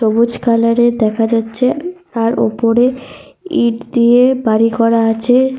সবুজ কালার -এর দেখা যাচ্ছে। আর উপরে ইঁট দিয়ে বাড়ি করা আছে।